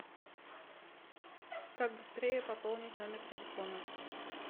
как быстрее пополнить номер телефона